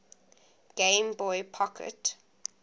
game boy pocket